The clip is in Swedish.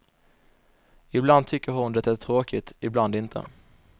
Ibland tycker hon det är tråkigt, ibland inte.